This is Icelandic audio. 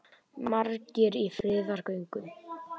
Margir í friðargöngu